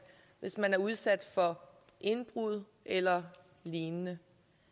hvis man er udsat for indbrud eller lignende